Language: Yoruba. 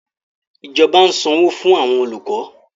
Ìjọba ń sanwó fún àwọn olùkọ́